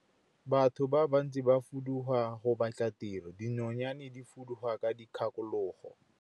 Batho ba bantsi ba fuduga go batla tiro, dinonyane di fuduga ka dikgakologo.